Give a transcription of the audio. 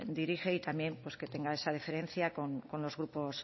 dirige y también pues que tenga esa deferencia con los grupos